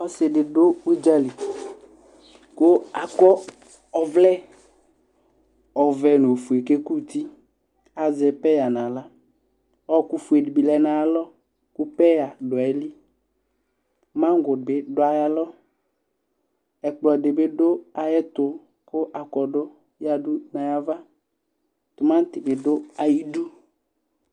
Ɔsɩ dɩ dʋ ʋdzǝlɩ, kʋ akɔ ɔvlɛ ɔvɛ nʋ ofue kʋ ekʋtɩ Azɛ pɛyǝ nʋ aɣla Ɔɔkʋfue dɩ bɩ lɛ nʋ ayʋ alɔ, kʋ pɛyǝ dʋ ayili, maŋgo bɩ dʋ ayalɔ Ɛkplɔ dɩ bɩ dʋ ayɛtʋ kʋ akɔdʋ yǝdʋ nʋ ayava Tʋmaŋte bɩ dʋ ayɩdu